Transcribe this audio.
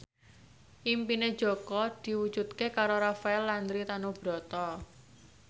impine Jaka diwujudke karo Rafael Landry Tanubrata